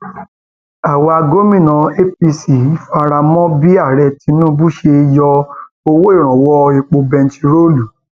àwa gómìnà apc fara um mọ bí ààrẹ tinubu ṣe um yọ owó ìrànwọ epo bẹntiróòlù